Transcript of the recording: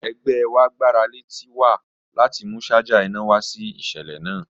Ẹgbẹ wa gbarale Tiwa lati mu ṣaja ina wa si iṣẹlẹ naa